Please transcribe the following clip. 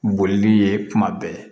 Bolili ye kuma bɛɛ